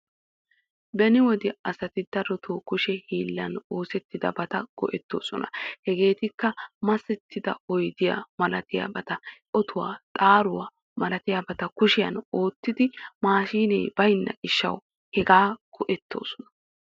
Beni wode asati darotoo kushshe hiillan oosettidabata go'ettoosona. Hegeettikka masettida oyddiyaa malatiyaabata, otuwa, xaaruwa malatiyabata kushshiyan oottidi mashshinee baynna gishshawu hegaa go'ettoosona.